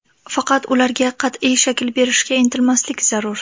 Faqat ularga qat’iy shakl berishga intilmaslik zarur.